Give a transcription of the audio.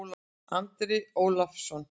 Andri Ólafsson